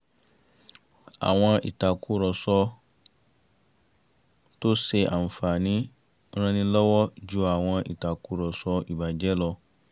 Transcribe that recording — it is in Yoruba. àwọn ìtàkùrọ̀sọ tó ṣe àǹfààní ran ni lọ́wọ́ ju àwọn ìtàkùrọ̀sọ ìbàjẹ́ lọ